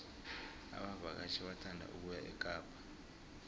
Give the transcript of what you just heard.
abavakatjhi bathanda ukuya ekapa